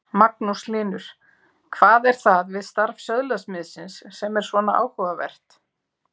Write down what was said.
Magnús Hlynur: Hvað er það við starf söðlasmiðsins sem er svona áhugavert?